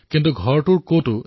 এই ঘৰতেই দেখিছোঁ